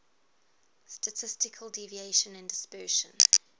statistical deviation and dispersion